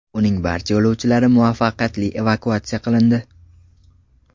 Uning barcha yo‘lovchilari muvaffaqiyatli evakuatsiya qilindi.